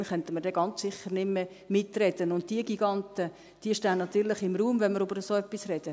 Dann könnten wir ganz sicher nicht mehr mitreden, und diese Giganten stehen natürlich im Raum, wenn wir über so etwas sprechen.